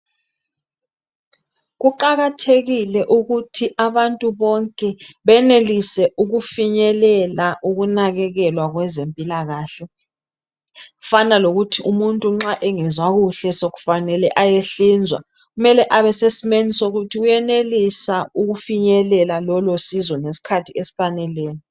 Kuqakathekile ukuthi abantu bonke benelise ukufinyelela ukunakekelwa kweze mpilakahle kufana lokuthi umuntu nxa engezwa kahle sokufane ayehlinzwa kumele abeseimweni sokuthi uyenelisa ukufinyelela lolosizo ngesikhathi esifaneleyo